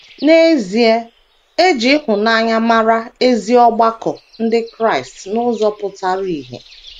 N’ezie, e ji ịhụnanya mara ezi ọgbakọ ndị Kraịst n’ụzọ pụtara ìhè.